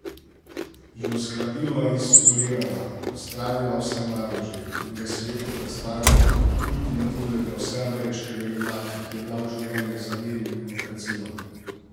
Jo zgladila in spolirala, odstranila vse madeže in ga svetu predstavila kot ultimativnega vseameriškega junaka, ki je dal življenje za mir in demokracijo.